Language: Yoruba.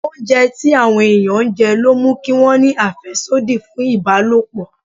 Oúnjẹ tí àwọn ẹ̀yàn jẹ ló mú kí wọn ní àfẹ́sódì fún ìbálòpọ̀.